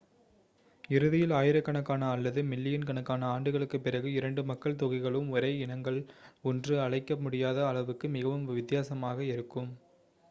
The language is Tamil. இறுதியில் ஆயிரக்கணக்கான அல்லது மில்லியன் கணக்கான ஆண்டுகளுக்குப் பிறகு இரண்டு மக்கள் தொகைகளும் ஒரே இனங்கள் என்று அழைக்க முடியாத அளவுக்கு மிகவும் வித்தியாசமாக இருக்கும்